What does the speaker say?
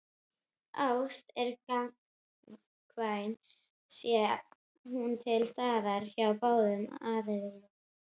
Ást er gagnkvæm sé hún til staðar hjá báðum aðilum.